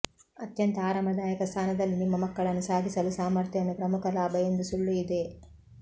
ಅತ್ಯಂತ ಆರಾಮದಾಯಕ ಸ್ಥಾನದಲ್ಲಿ ನಿಮ್ಮ ಮಕ್ಕಳನ್ನು ಸಾಗಿಸಲು ಸಾಮರ್ಥ್ಯವನ್ನು ಪ್ರಮುಖ ಲಾಭ ಎಂದು ಸುಳ್ಳು ಇದೆ